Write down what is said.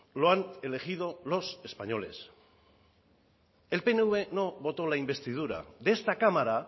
lo han elegido los españoles el pnv no votó la investidura de esta cámara